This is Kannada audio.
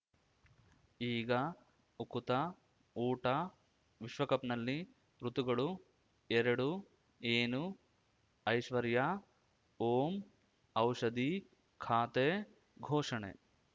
ಈಗ ಉಕುತ ಊಟ ವಿಶ್ವಕಪ್‌ನಲ್ಲಿ ಋತುಗಳು ಎರಡು ಏನು ಐಶ್ವರ್ಯಾ ಓಂ ಔಷಧಿ ಖಾತೆ ಘೋಷಣೆ